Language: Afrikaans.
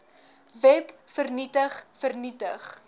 web vernietig vernietig